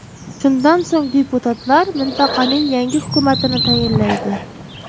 Shundan so‘ng deputatlar mintaqaning yangi hukumatini tayinlaydi.